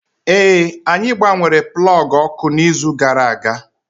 Ee, anyị gbanwere plọọgụ ọkụ n'izu gara aga